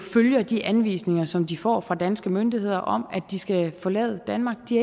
følger de anvisninger som de får fra danske myndigheder om at de skal forlade danmark de